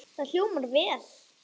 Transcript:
Það hljómar vel.